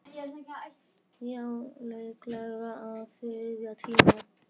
Já, líklega á þriðja tíma.